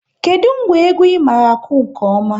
Kedụ ngwa egwu ị maara akụ nke ọma?